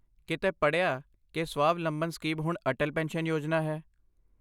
ਕਿਤੇ ਪੜ੍ਹਿਆ ਕਿ ਸਵਾਵਲੰਬਨ ਸਕੀਮ ਹੁਣ ਅਟਲ ਪੈਨਸ਼ਨ ਯੋਜਨਾ ਹੈ?